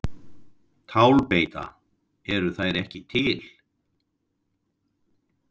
Tálbeita: Eru þær ekki til?